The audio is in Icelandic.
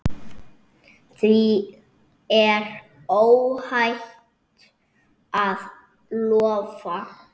Því er óhætt að lofa.